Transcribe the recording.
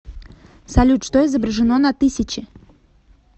салют что изображено на тысяче